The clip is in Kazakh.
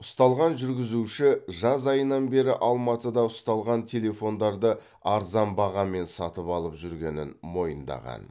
ұсталған жүргізуші жаз айынан бері алматыда ұсталған телефондарды арзан бағамен сатып алып жүргенін мойындаған